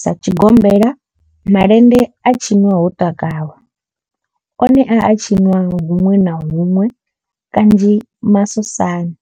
Sa tshigombela, malende a tshinwa ho takalwa, one a a tshiniwa hunwe na hunwe kanzhi masosani.